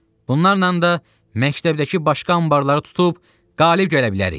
Bunlarla da məktəbdəki başqa anbarları tutub qalib gələ bilərik.